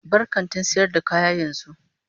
Bar kantin sayar da kaya yanzu.